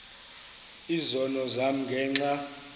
izono zam ngenxa